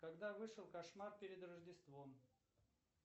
когда вышел кошмар перед рождеством